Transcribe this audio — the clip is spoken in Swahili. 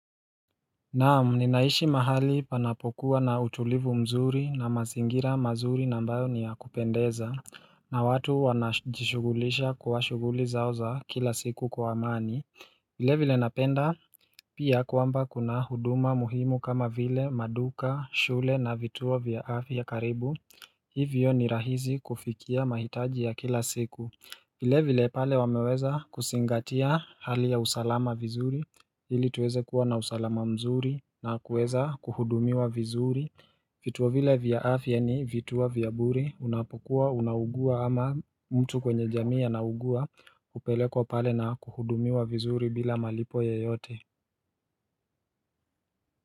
Naam, ninaishi mahali panapokuwa na utulivu mzuri na mazingira mazuri nambayo niya kupendeza na watu wanajishugulisha kwa shuguli zao za kila siku kwa amani vile vile napenda Pia kwamba kuna huduma muhimu kama vile maduka, shule na vituo vya afya karibu Hivyo ni rahizi kufikia mahitaji ya kila siku vile vile pale wameweza kusingatia hali ya usalama vizuri ili tuweze kuwa na usalama mzuri na kuweza kuhudumiwa vizuri Fituo vile vya afya ni vituo vya buri Unapokuwa, unaugua ama mtu kwenye jamii anaugua Upelekwa pale na kuhudumiwa vizuri bila malipo yoyote.